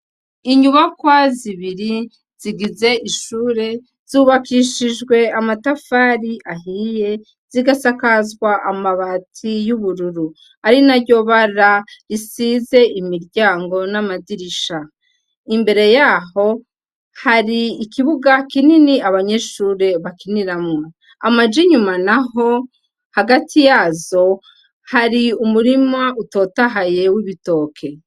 Inyubakwa zibiri zigize ishure zubakishijwe amatafari ahiye zigasakazwa amabati y'ubururu ari na ryobara isize imiryango n'amadirisha imbere yaho hari ikibuga kinini abanyeshure bakiniramwo amaja inyuma na ho hagati yazo hari umurima utotahayewe ibitoke.